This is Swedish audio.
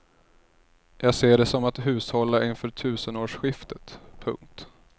Jag ser det som att hushålla inför tusenårsskiftet. punkt